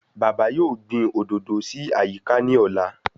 Bàbá yóò gbìn òdòdó sí àyíká ní ọ̀la